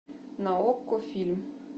на окко фильм